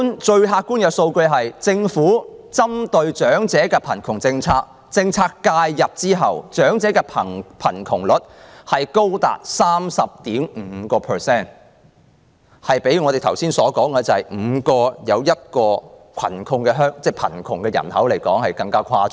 最客觀的數字是，自政府實施針對長者的扶貧政策以後，長者的貧窮率仍高達 30.5%， 較我剛才所說的香港每5人中有1人屬貧窮人口更誇張。